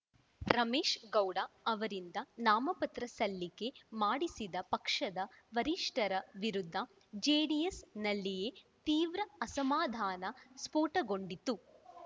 ರಮೇಶ್‌ಗೌಡ ಅವರಿಂದ ನಾಮಪತ್ರ ಸಲ್ಲಿಕೆ ಮಾಡಿಸಿದ ಪಕ್ಷದ ವರಿಷ್ಠರ ವಿರುದ್ಧ ಜೆಡಿಎಸ್‌ನಲ್ಲಿಯೇ ತೀವ್ರ ಅಸಮಾಧಾನ ಸ್ಪೋಟಗೊಂಡಿತ್ತು